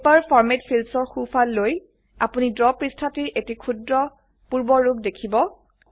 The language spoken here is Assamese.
পেপাৰ ফৰমাত fieldsৰ সোফাল লৈ আপোনি ড্ৰ পৃষ্ঠাটিৰ এটি ক্ষুদ্ৰ পূৰ্বৰুপ দেখিব